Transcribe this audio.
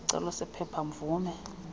isicelo sephepha mvume